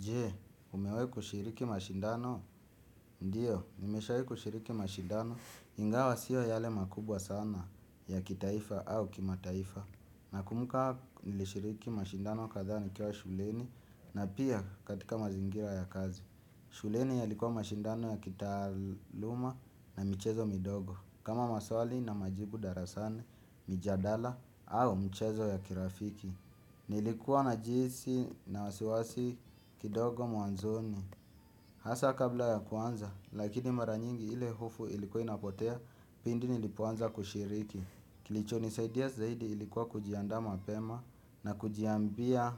Jee, umewai kushiriki mashindano, ndio, nimeshawai kushiriki mashindano, ingawa sio yale makubwa sana ya kitaifa au kima taifa. Nakumbuka nilishiriki mashindano kadha ni kiwa shuleni na pia katika mazingira ya kazi. Shuleni yalikuwa mashindano ya kitaluma na michezo midogo. Kama maswali na majibu darasani, mijadala au michezo ya kirafiki. Nilikuwa na jihisi na wasiwasi kidogo mwanzoni. Hasa kabla ya kuanza lakini mara nyingi ile hofu ilikuwa inapotea pindi nilipoanza kushiriki. Kilicho nisaidia zaidi ilikuwa kujianda mapema na kujiambia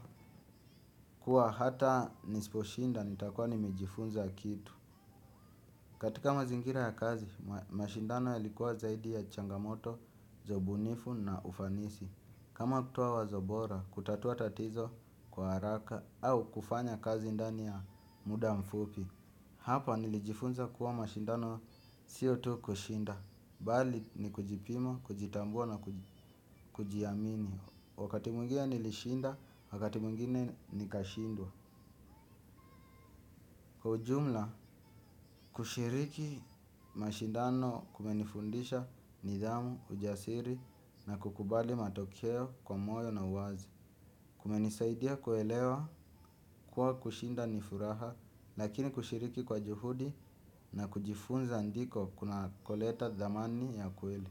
kuwa hata nisiposhinda nitakuwa nimejifunza kitu. Katika mazingira ya kazi mashindano yalikuwa zaidi ya changamoto, za ubunifu na ufanisi. Kama kutowa wazo bora, kutatua tatizo kwa haraka au kufanya kazi ndani ya muda mfupi. Hapa nilijifunza kuwa mashindano siyo tu kushinda. Bali ni kujipima, kujitambua na kujiamini. Wakati mwingine nilishinda, wakati mwingine nikashindwa. Kwa ujumla, kushiriki mashindano kumenifundisha nidhamu, ujasiri na kukubali matokeo kwa moyo na uwazi. Kumenisaidia kuelewa, kuwa kushinda nifuraha, lakini kushiriki kwa juhudi na kujifunza ndiko kuna koleta dhamani ya kweli.